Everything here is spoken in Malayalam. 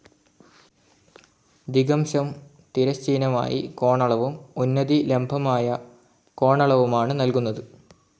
ദിഗംശം തിരശ്ചീനമായി കോണളവും ഉന്നതി ലംബമായ കോണളവുമാണ് നൽകുന്നത്.